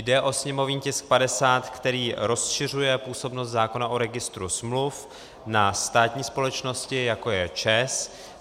Jde o sněmovní tisk 50, který rozšiřuje působnost zákona o registru smluv na státní společnosti, jako je ČEZ.